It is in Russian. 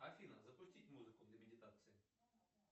афина запустить музыку для медитации